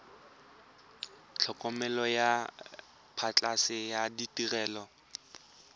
tlhokomelo ya phatlhoso le ditirelo